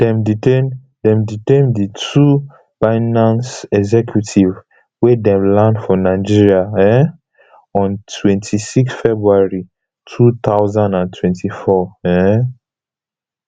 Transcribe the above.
dem detain dem detain di two binance executives wen dem land for nigeria um on twenty-six february two thousand and twenty-four um